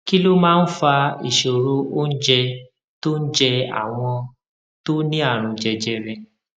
kí ló máa ń fa ìṣòro oúnjẹ tó ń jẹ àwọn tó ní àrùn jẹjẹrẹ